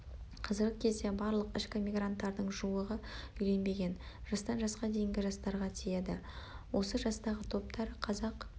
қазіргі кезде барлық ішкі мигранттардың жуығы үйленбеген жастан жасқа дейінгі жастарға тиеді осы жастағы топтар қазақ